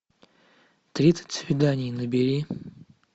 тридцать свиданий набери